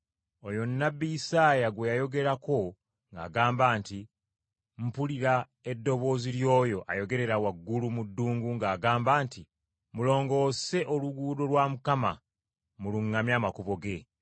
Oyo nnabbi Isaaya gwe yayogerako ng’agamba nti, “Mpulira eddoboozi ly’oyo ayogerera waggulu mu ddungu ng’agamba nti, ‘Mulongoose oluguudo lwa Mukama, muluŋŋamye amakubo ge!’ ”